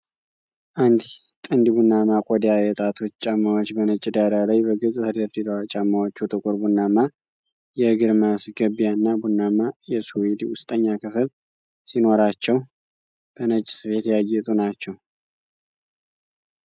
አንድ ጥንድ ቡናማ ቆዳ የጣቶች ጫማዎች በነጭ ዳራ ላይ በግልጽ ተደርድረዋል። ጫማዎቹ ጥቁር ቡናማ የእግር ማስገቢያና ቡናማ የሱዌድ ውስጠኛ ክፍል ሲኖራቸው፣ በነጭ ስፌት ያጌጡ ናቸው።